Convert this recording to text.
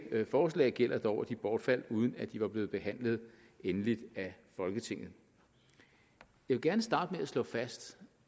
forslag gælder dog at de bortfaldt uden at de var blevet behandlet endeligt af folketinget jeg vil gerne starte med at slå fast